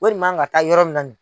Wori man ka taa yɔrɔ min na